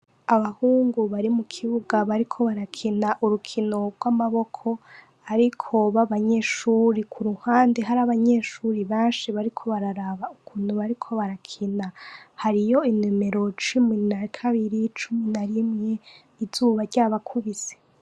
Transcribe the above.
Abahungu bari mukibuga bariko barakina urukino rwamaboko ariko babanyeshure kuruhande rwabanyeshure benshi bariko bararaba ukuntu bariko barakina hariyo inomero cumi nakabiri cumi narimwe izuba ryabakubise